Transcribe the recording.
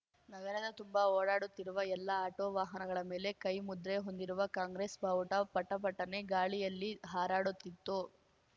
ನಗರದ ತುಂಬ ಓಡಾಡುತ್ತಿರುವ ಎಲ್ಲ ಆಟೋ ವಾಹನಗಳ ಮೇಲೆ ಕೈ ಮುದ್ರೆ ಹೊಂದಿರುವ ಕಾಂಗ್ರೆಸ್ ಬಾವುಟ ಪಟ ಪಟನೆ ಗಾಳಿಯಲ್ಲಿ ಹಾರಾಡುತ್ತಿತ್ತು